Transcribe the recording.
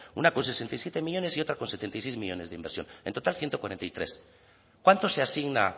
una con sesenta y siete millónes y otra con setenta y seis millónes de inversión en total ciento cuarenta y tres cuánto se asigna